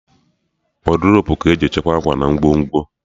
Wọdrobu ka-eji echekwa akwa na ngwongwo